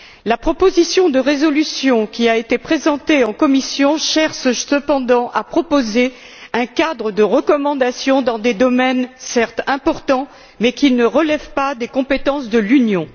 La proposition de résolution qui a été présentée en commission cherche cependant à proposer un cadre de recommandations dans des domaines certes importants mais qui ne relèvent pas des compétences de l'Union.